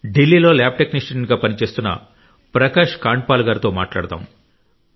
ఢిల్లీలో ల్యాబ్ టెక్నీషియన్గా పనిచేస్తున్న ప్రకాష్ కాండ్పాల్ గారితో మాట్లాడదాం